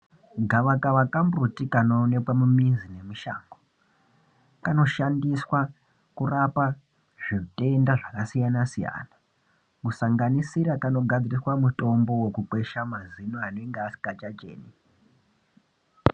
Gava kava kambuti kanoonekwe mumizi nushango kanoshandiswa kurapa zvitenda zvakasiyana siyana zvisanganisira kanogadziriswa mutombo wekugweshaazino anenga asikachacheni.